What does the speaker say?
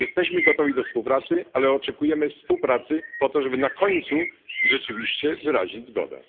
Jesteśmy gotowi do współpracy, ale oczekujemy współpracy po to, żeby na końcu rzeczywiście wyrazić zgodę.